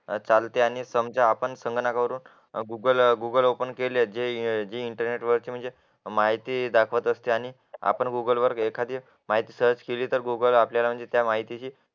चालते आणि समजा आपण संगणकावरून गुगल ओपन केले जे इंटरनेटवरचे माहिती दाखवते असते आणि आपण गुगल वर एखादी माहिती सर्च केली तर गुगल आपल्याला त्या माहितीची